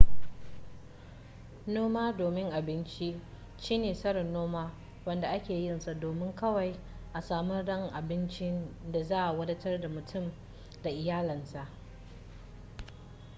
noma domin abinci shine tsarin noma wanda ake yinsa domin kawai a samar da abincin da zai wadatar da mutum da iyalansa